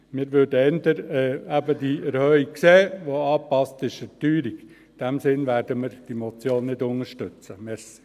Wir würden eben eher die Erhöhung sehen, die der Teuerung angepasst ist.